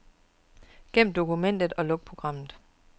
Gem dokumentet og luk programmet.